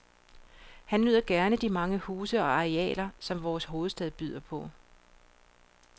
Han nyder gerne de mange huse og arealer, som vores hovedstad byder på.